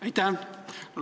Aitäh!